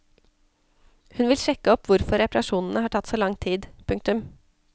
Hun vil sjekke opp hvorfor reparasjonene har tatt så lang tid. punktum